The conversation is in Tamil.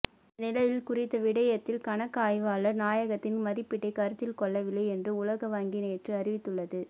இந்தநிலையில் குறித்த விடயத்தில் கணக்காய்வாளர் நாயகத்தின் மதிப்பீட்டைகருத்திற்கொள்ளவில்லை என்று உலக வங்கி நேற்று அறிவித்துள்ளது